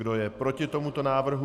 Kdo je proti tomuto návrhu?